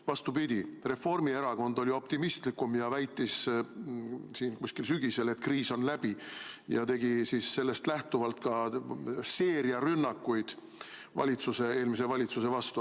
Vastupidi, Reformierakond oli optimistlikum ja väitis siin sügisel, et kriis on läbi, ja tegi sellest lähtuvalt ka seeria rünnakuid eelmise valitsuse vastu.